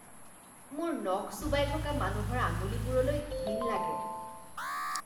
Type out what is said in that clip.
মোৰ নখ চোবাই থকা মানুহৰ আঙুলিবোৰলৈ ঘিণ লাগে।